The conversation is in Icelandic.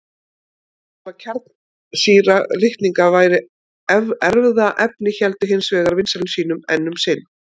Hugmyndir um að kjarnsýra litninga væri erfðaefni héldu hins vegar vinsældum sínum enn um sinn.